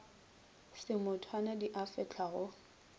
semotwana di a fehlwa go